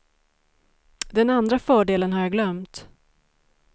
Den andra fördelen har jag glömt.